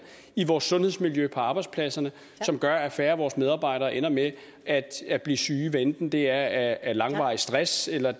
i vores sundhedsmiljø på arbejdspladserne som gør at færre af vores medarbejdere ender med at blive syge hvad enten det er af langvarig stress eller